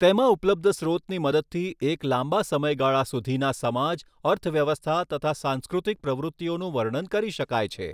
તેમાં ઉપલબ્ધ સ્રોતની મદદથી એક લાંબા સમયગાળા સુધીના સમાજ અર્થવ્યવસ્થા તથા સાંસ્કૃતિક પ્રવૃતિઓનું વર્ણન કરી શકાય છે.